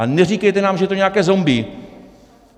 A neříkejte nám, že je to nějaké zombie.